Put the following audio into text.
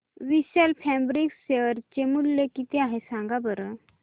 विशाल fabrics share चे मूल्य किती आहे सांगा बरं